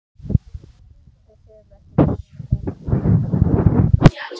Við höfum ekki farið á ball í heila öld!